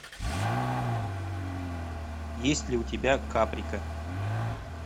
есть ли у тебя каприка